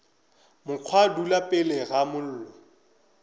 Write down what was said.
mokgwa dula pele ga mollo